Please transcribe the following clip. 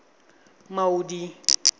maudi